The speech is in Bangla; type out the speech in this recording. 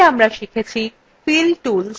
এতে আমরা শিখেছি